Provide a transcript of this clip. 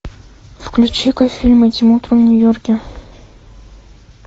включи ка фильм этим утром в нью йорке